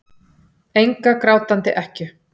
Enga grátandi ekkju.